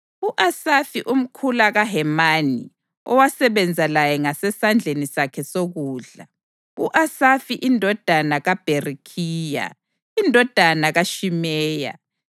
U-Asafi umkhula kaHemani owasebenza laye ngasesandleni sakhe sokudla: U-Asafi indodana kaBherekhiya, indodana kaShimeya,